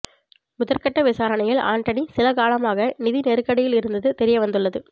முதற்கட்ட விசாரணையில் ஆண்டனி சில காலமாக நிதி நெருக்கடியில் இருந்தது தெரியவந்துள்ளது